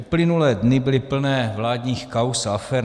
Uplynulé dny byly plné vládních kauz a afér.